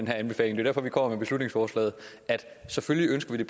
her anbefaling og vi beslutningsforslaget selvfølgelig ønsker vi